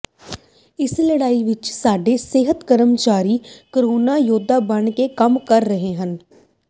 ਇਸ ਲੜਾਈ ਵਿੱਚ ਸਾਡੇ ਸਿਹਤ ਕਰਮਚਾਰੀ ਕਰੋਨਾ ਯੋਧੇ ਬਣ ਕੇ ਕੰਮ ਕਰ ਰਹੇ ਹਨ